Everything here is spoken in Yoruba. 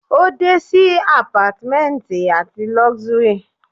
o de si apartments ati luxury